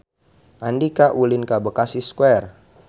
Andika ulin ka Bekasi Square